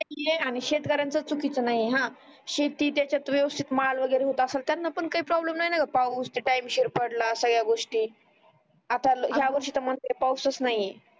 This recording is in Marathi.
आणि शेतकर्‍यांच चुकीच नाही आहे हा शेतीच्या याचात वेवस्तीत माल वगरे होत असण त्यांना पण काही प्रॉब्लेम नाही पाऊस टाइम शिर पडला सगड्या गोष्टी आता ह्या वर्षी त पाऊस च नाही